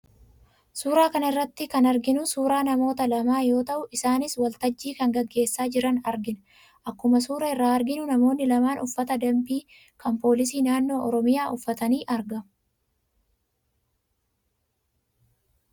Suuraa kana irratti kan arginu suuraa namoota lamaa yoo ta'u, isaanis waltajjii kan gaggeessaa jiran argina. Akkuma suuraa irraa arginu namoonni lamaan uffata danbii kan poolisii naannoo Oromiyaa uffatanii argamu.